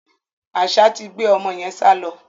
Àṣá ti gbé ọmọ yẹn sálọ.